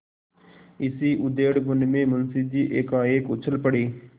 इसी उधेड़बुन में मुंशी जी एकाएक उछल पड़े